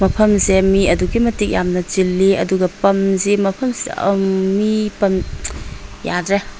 ꯃꯐꯝ ꯑꯁꯦ ꯃꯤ ꯑꯗꯨꯛꯀꯤ ꯃꯇꯤꯛ ꯌꯥꯝꯅ ꯆꯤꯜꯂꯤ ꯑꯗꯨꯒ ꯄꯝ ꯖꯤ ꯃꯐꯝꯁꯤ ꯑꯝ ꯃꯤ ꯄꯝ ꯌꯥꯗꯔꯦ꯫